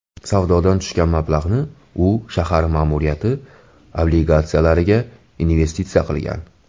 Savdodan tushgan mablag‘ni u shahar ma’muriyati obligatsiyalariga investitsiya qilgan.